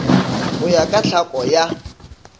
go ya ka tlhako ya